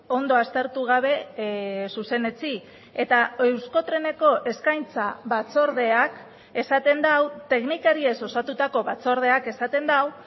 ondo aztertu gabe zuzenetsi eta euskotreneko eskaintza batzordeak esaten du teknikariez osatutako batzordeak esaten du